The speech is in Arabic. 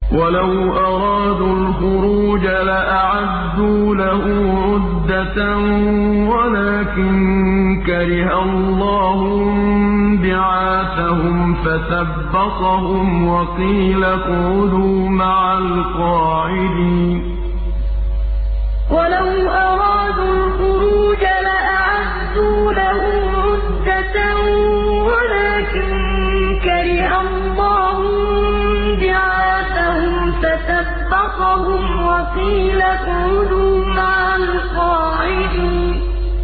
۞ وَلَوْ أَرَادُوا الْخُرُوجَ لَأَعَدُّوا لَهُ عُدَّةً وَلَٰكِن كَرِهَ اللَّهُ انبِعَاثَهُمْ فَثَبَّطَهُمْ وَقِيلَ اقْعُدُوا مَعَ الْقَاعِدِينَ ۞ وَلَوْ أَرَادُوا الْخُرُوجَ لَأَعَدُّوا لَهُ عُدَّةً وَلَٰكِن كَرِهَ اللَّهُ انبِعَاثَهُمْ فَثَبَّطَهُمْ وَقِيلَ اقْعُدُوا مَعَ الْقَاعِدِينَ